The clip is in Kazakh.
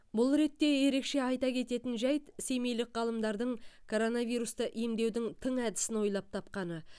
бұл ретте ерекше айта кететін жайт семейлік ғалымдардың коронавирусты емдеудің тың әдісін ойлап тапқаны